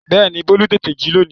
Bẹ́ẹ̀ni Bólú tètè jí lónìí